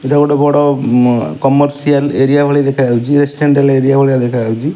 ଏଇଟା ଗୋଟେ ବଡ଼ କମର୍ସିଆଲ୍ ଏରିଆ ଭଳି ଦେଖା ଯାଉଛି ରେଶିନ୍ଦେନ୍ସିଆଲ୍ ଏରିଆ ଭଳିଆ ଦେଖା ଯାଉଛି।